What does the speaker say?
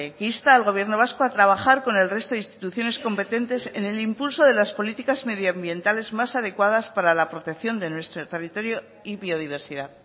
que insta al gobierno vasco a trabajar con el resto de instituciones competentes en el impulso de las políticas medio ambientales más adecuadas para la protección de nuestro territorio y biodiversidad